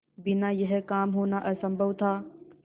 बिना यह काम होना असम्भव था